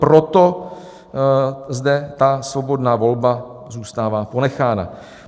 Proto zde ta svobodná volba zůstává ponechána.